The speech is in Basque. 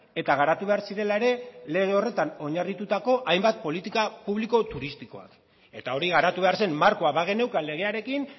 eta garatu behar zirela ere lege horretan oinarritutako hainbat politika publiko turistikoak eta hori garatu behar zen markoa bageneukan legearekin